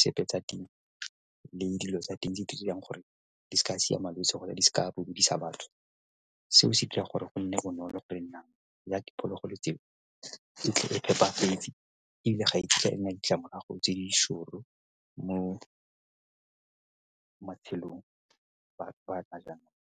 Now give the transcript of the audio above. sepe tsa teng dilo tsa teng di dirang gore di se ka siama le gore di se ka bobodisa batho. Seo se dira gore go nne bonolo gore ya diphologolo tseo di tlile ebile ga e kitla e nna le ditlamorago tse di mo matshelong a jaanong.